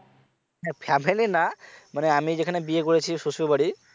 হ্যা family না মানে আমি যেখানে বিয়ে করেছি শ্বশুরবাড়ি।